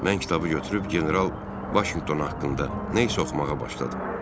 Mən kitabı götürüb general Vaşinqton haqqında nə isə oxumağa başladım.